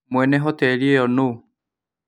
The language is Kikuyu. Mwene hoteli ĩyo nũũ